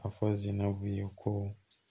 A fɔ zinabu ko